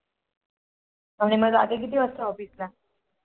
मग जाते किती वाजता Office ला?